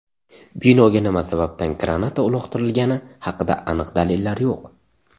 Binoga nima sababdan granata uloqtirilgani haqida aniq dalillar yo‘q.